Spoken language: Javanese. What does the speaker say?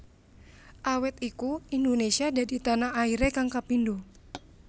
Awit iku Indonesia dadi tanah airé kang kapindo